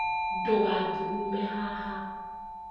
Ndũgathugume haha